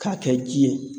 K'a kɛ ji ye